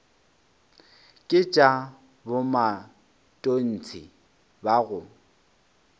ke tša bomatontshe ba go